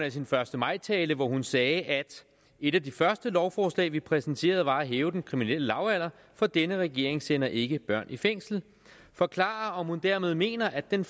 af sin første maj tale hvor hun sagde at et af de første lovforslag vi præsenterede var at hæve den kriminelle lavalder for denne regering sender ikke børn i fængsel forklare om hun dermed mener at den